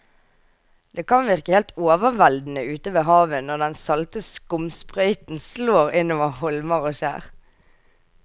Det kan virke helt overveldende ute ved havet når den salte skumsprøyten slår innover holmer og skjær.